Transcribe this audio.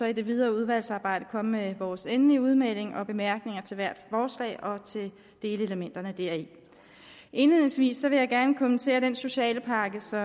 i det videre udvalgsarbejde komme med vores endelige udmelding og bemærkninger til hvert forslag og til delelementerne deri indledningsvis vil jeg gerne kommentere den socialpakke som